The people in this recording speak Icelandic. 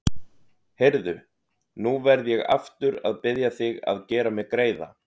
Heyrðu. nú verð ég aftur að biðja þig að gera mér greiða!